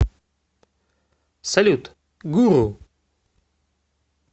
салют гуру